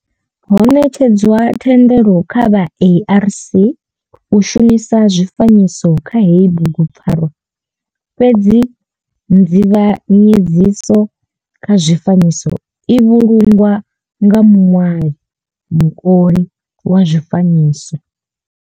Ho netshedzwa thendelo kha vha ARC u shumisa zwifanyiso kha heyi bugu pfarwa fhedzi nzivhanyedziso kha zwifanyiso i vhulungwa nga muṋwali kana muoli wa zwifanyiso.